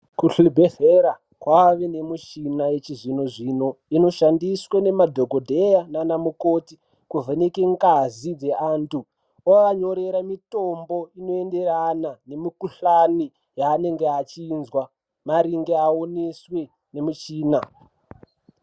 Kuzvibhedhlera, kwaane michhina yechi zvino-zvino. Inoshandiswe ngemadhokodheya nana mukoti, kuvheneka ngazi dzeanthu. Ovanyorera mitombo inoenderana nemikhuhlani yaanenge achizwa maringe aoneswa ngemichina.